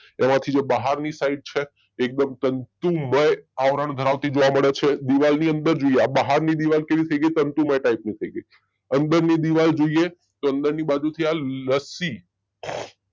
એમાંથી જો બહારની સાઈડ છે એકદમ તંતુમય આવરણ ધરાવતી જોવા મળે છે દીવાલની અંદર જોઈએ બહારની દીવાલ કેવી થઇ ગઈ તંતુમય ટાઈપની થઇ ગઈ અંદરની દીવાલ જોઈએ તો અંદરની બાજુ થી લસ્સી